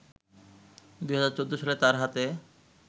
২০১৪ সালে তার হাতে